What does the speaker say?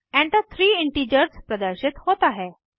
Enter three integers प्रदर्शित होता है